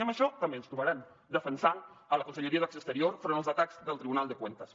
i en això també ens trobaran defensant la conselleria d’acció exterior enfront dels atacs del tribunal de cuentas